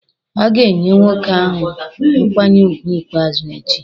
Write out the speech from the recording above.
A ga-enye nwoke ahụ nkwanye ùgwù ikpeazụ echi?